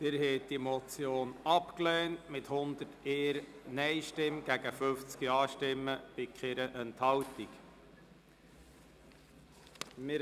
Sie haben die Motion mit 101 Nein- gegen 50 Ja-Stimmen bei 0 Enthaltungen abgelehnt.